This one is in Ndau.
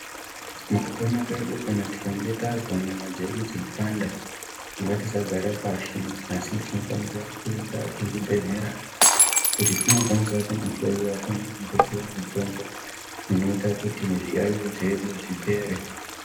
Mukupona kwedu kana tikange tazwa nyama dzeipanda ngatisagare pashi asi tinofanira kuenda kuzvibhedhlera kuti tinokwanisa kunohloyiwa pamwe nekupiwa mitombo inoita kuti zviyaiyo zvedu zvipere.